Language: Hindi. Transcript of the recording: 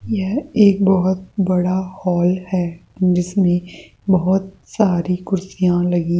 यह एक बहोत बड़ा हॉल है जिसमें बहोत सारी कुर्सीयां लगी --